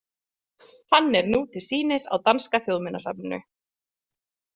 Hann er nú til sýnis á Danska þjóðminjasafninu.